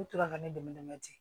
U tora ka ne dɛmɛ ten